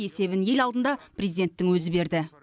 есебін ел алдында президенттің өзі берді